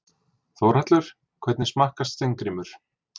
Þórhallur: Hvernig smakkast Steingrímur?